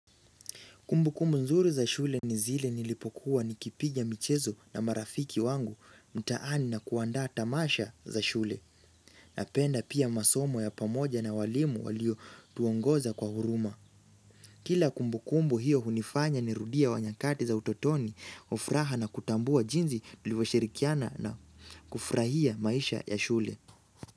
Kumbukumbu nzuri za shule ni zile nilipokuwa nikipiga michezo na marafiki wangu mtaani na kuanda tamasha za shule. Napenda pia masomo ya pamoja na walimu waliotuongoza kwa huruma. Kila kumbukumbu hiyo hunifanya nirudie nyakati za utotoni kwa furaha na kutambua jinsi nilivyoshirikiana na kufurahia maisha ya shule.